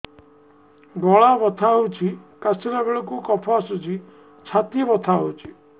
ଗଳା ବଥା ହେଊଛି କାଶିଲା ବେଳକୁ କଫ ଆସୁଛି ଛାତି ବଥା ହେଉଛି